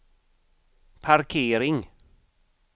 parkering